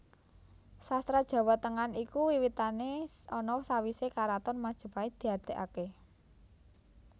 Sastra Jawa Tengahan iku wiwitane ana sawisé karaton Majapait diadegaké